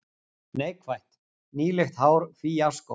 Neikvætt: Nýlegt hár fíaskó.